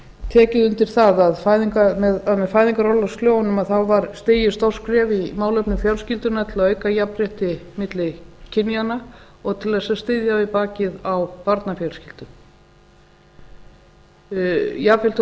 tekið undir það að með fæðingarorlofslögunum var stigið stórt skref í málefnum fjölskyldunnar til að auka jafnrétti milli kynjanna og til þess að styðja við bakið á barnafjölskyldum jafn vel þótt